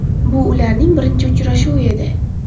Bu ularning birinchi uchrashuvi edi.